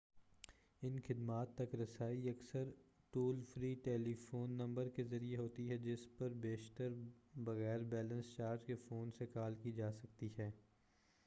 ان خدمات تک رسائی اکثر ٹول فری ٹیلیفون نمبر کے ذریعہ ہوتی ہے جس پر بیشتر بغیر بیلنس چارج کے فون سے کال کی جاسکتی ہے